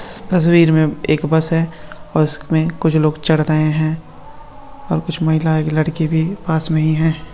तस्वीर में एक बस है। जिसमे कुछ लोग लड़की भी पास नही है।